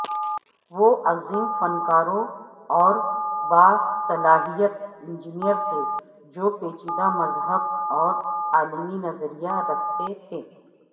وہ عظیم فنکاروں اور باصلاحیت انجینئر تھے جو پیچیدہ مذہب اور عالمی نظریہ رکھتے تھے